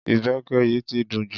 Ìbẹpẹ yìí ti dùn jù.